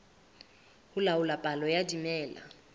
ho laola palo ya dimela